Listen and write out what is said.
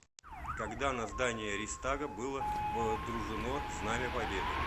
когда на здании рейхстага было водружено знамя победы